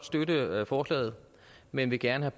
støtte forslaget men vil gerne